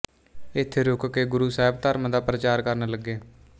ਇੱਥੇ ਰੁਕ ਕੇ ਗੁਰੂ ਸਾਹਿਬ ਧਰਮ ਦਾ ਪ੍ਰਚਾਰ ਕਰਨ ਲੱਗੇ